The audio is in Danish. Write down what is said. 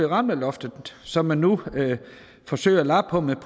ramt af loftet som man nu forsøger at lappe på med